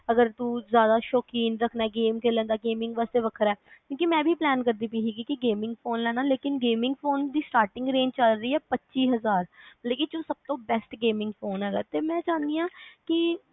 ਅਗਰ ਤੂੰ ਜ਼ਿਆਦਾ ਸ਼ੋਕੀਨ ਰੱਖਣਾ gaming ਖੇਲਣ ਦਾ gaming ਵਾਸਤੇ ਵੱਖਰਾ ਐ ਕਿਊ ਕਿ ਮੈਂ ਵੀ plan ਕਰਦੀ ਪਈ ਹੀ ਕੇ gaming ਲੈਣਾ ਲੇਕਿਨ gaming phone ਦੀ starting range ਚਲ ਰਹੀ ਆ ਪੱਚੀ ਹਜ਼ਾਰ ਲੇਕਿਨ ਜੋ ਸਭ ਤੋਂ best gaming phone ਹੇਗਾ